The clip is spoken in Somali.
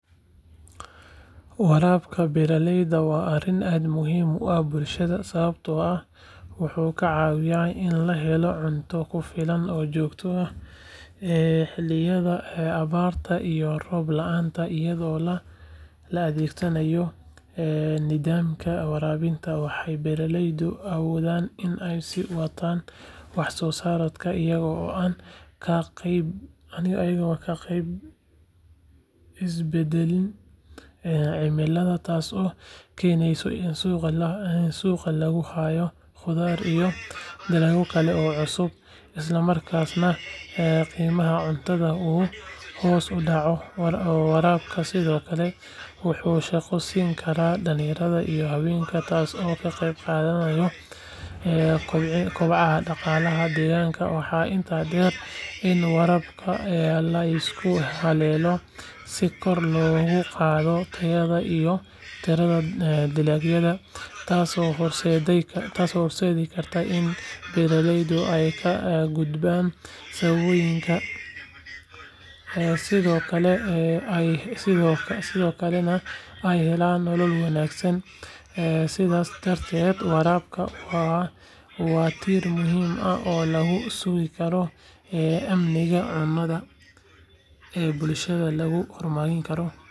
Waraabka beeraleyda waa arrin aad muhiim u ah bulshada sababtoo ah wuxuu ka caawiyaa in la helo cunto ku filan oo joogto ah xilliyada abaarta iyo roob la’aanta iyadoo la adeegsado nidaamka waraabka waxay beeraleydu awoodaan in ay sii wataan wax soo saarkooda iyagoo aan ka baqayn isbedbedelka cimilada taasoo keenaysa in suuqa lagu hayo khudaar iyo dalagyo kale oo cusub isla markaasna qiimaha cuntada uu hoos u dhaco waraabku sidoo kale wuxuu shaqo siin karaa dhalinyarada iyo haweenka taasoo ka qeyb qaadaneysa kobaca dhaqaalaha deegaanka waxaa intaa dheer in waraabka la isku halleeyo si kor loogu qaado tayada iyo tirada dalagyada taasoo horseedi karta in beeraleydu ay ka gudbaan saboolnimada sidoo kalena ay helaan nolol wanaagsan sidaas darteed waraabka waa tiir muhiim ah oo lagu sugi karo amniga cunno ee bulshada laguna horumarin karo deegaanka oo dhan.